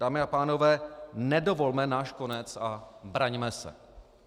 Dámy a pánové, nedovolme náš konec a braňme se.